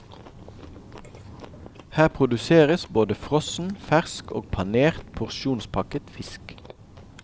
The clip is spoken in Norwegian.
Her produseres både frossen, fersk og panert porsjonspakket fisk.